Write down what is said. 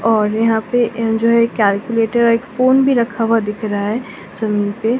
और यहां पे जो है एक कैलकुलेटर और एक फोन भी रखा हुआ दिख रहा है जमीन पे --